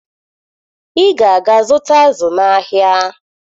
Ị ga-aga zụta azụ n'ahịa!